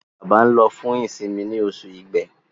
Bába nlo fún isinmi ní Oṣù Ìgbé.